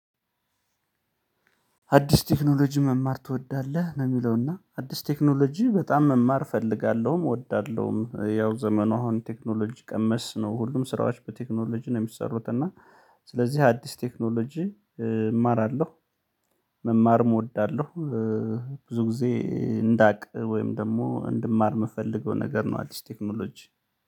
አዲስ ቴክኖሎጂ መማር ትወዳለህ ነው? የሚለውና አዲስ ቴክኖሎጂ በጣም መማር እፈልጋለሁም እወዳለሁም ያው ዘመኑ አሁን ቴክኖሎጂ ቀመስ ነው ሁሉም ስራዎች በቴክኖሎጂ ነው የሚሰሩት እና ስለዚህ አዲስ ቴክኖሎጂ እማራለሁ። መማር እወዳለሁ። ብዙ ጊዜ እንዳቅ ወይም ደግሞ እንድማር የምፈልገው ነገር ነው። አሊስት ቴክኖሎጂ